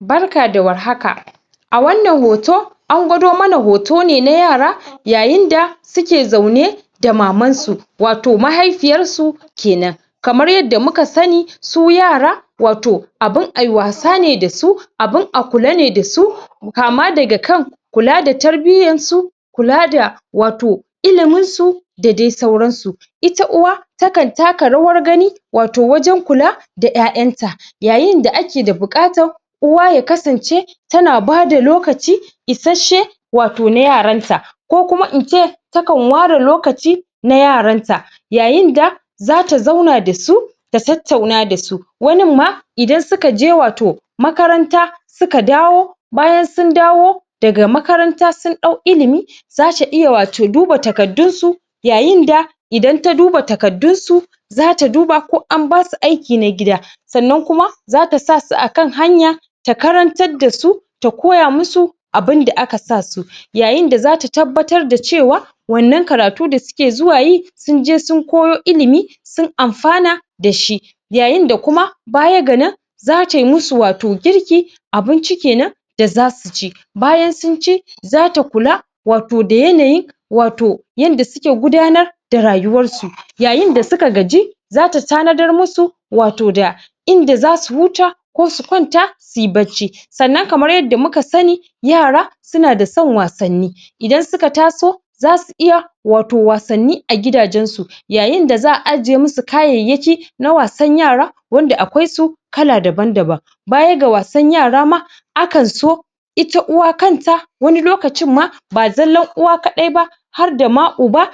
barka da warhaka a wannan hoto an gwado mana hoto ne na yara yayin da suke zaune da maman su wato mahaifiyar su kenan kamar yadda muka sani su yara wato abun ayi wasa ne da su abun a kula ne da su kama daga kan kula da tarbiyar su kula da wato ilimin su da dai sauran su ita uwa ta kan taka rawar gani wato wajen kula da ƴaƴan ta yayin da ake da buƙatar uwa ya kasance tana bada lokaci isashshe wato na yaran ta ko kuma in ce takan ware lokaci na yaran ta yayin da zata zauna da su ta tattauna da su wanin ma idan suka je wato makaranta suka dawo bayan sun dawo daga makaranta sun ɗau ilimi zata iya wato duba takardun su yayin da idan ta duba takardun su zata duba ko an basu aiki na gida sannan kuma zata sa su akan hanya ta karantar da su ta koya mu su abun da aka sa su yayin da zata tabbatar da cewa wannan karatu da suke zuwa yi sun je sun koyo ilimi sun amfana da shi yayin da kuma baya ga nan zata yi mu su wato girki abinci kenan da zasu ci bayan sun ci zata kula wato da yanayi wato yanda suke gudanar da rayuwar su yayin da suka gaji zata tanadar mu su wato da in da zasu huta ko su kwanta suyi barci sannan kamar yadda muka sani yara suna da son wasanni idan suka taso zasu iya wato wasanni a gidajen su yayin da za'a ajiye mu su kayayyaki na wasan yara wanda akwai su kala daban-daban baya ga wasan yara ma akan so ita uwa kanta wani lokacin ma ba zallan uwa kaɗai ba har da ma uba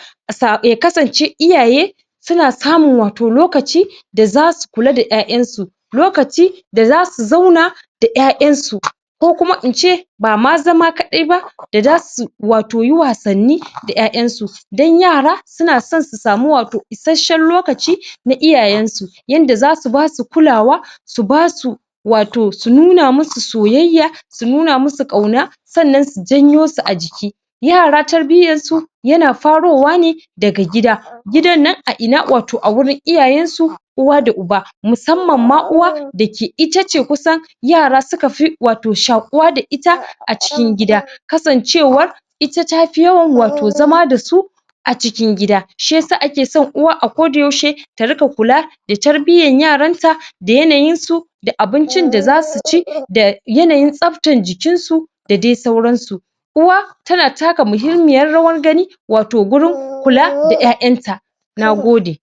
ya kasance iyaye suna samun wato lokaci da zasu kula da ƴaƴan su lokaci da zasu zauna da ƴaƴan su ko kuma in ce ba ma zama kaɗai ba, da za su wato yi wasanni da ƴaƴan su dan yara suna son su samu wato isashshen lokaci na iyayen su yanda zasu basu kulawa, su ba su wato su nuna mu su soyayya su nuna musu ƙauna sannan su janyo su a jiki yara tarbiyyar su yana farowa ne daga gida gidan nan a ina? wato a wurin iyayen su uwa da uba musamman ma uwa da ke ita ce kusa yara suka fi wato shaƙuwa da ita a cikin gida kasancewar ita tafi yawan wato zama da su a cikin gida shiyasa ake son uwa a ko da yaushe ta riƙa kula da tarbiyyan yaran ta da yanayin su da abincin da zasu ci da yanayin tsaftar jikin su da dai sauran su uwa tana taka muhimmiyar rawan gani wato gurin kula da ƴaƴan ta nagode